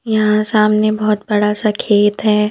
यहां सामने बहोत बड़ा सा खेत है।